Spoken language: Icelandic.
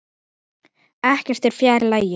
Ekkert er fjær lagi.